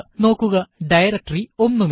നോക്കുക ഡയറക്ടറി ഒന്നുമില്ല